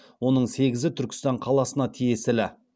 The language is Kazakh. оның сегізі түркістан қаласына тиесілі